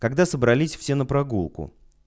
когда собрались все на прогулку